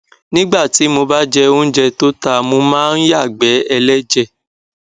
nígbà tí mo bá jẹ óúnjẹ tó ta mo máa ń yàgbẹ ẹlẹjẹ